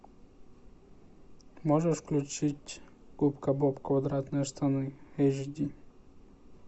можешь включить губка боб квадратные штаны эйч ди